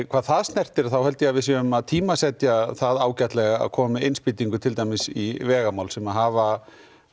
hvað það snertir held ég að við séum að tímasetja það ágætlega að koma með innspýtingu til dæmis í vegamál sem hafa